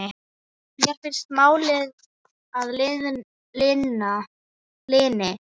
Mér finnst mál að linni.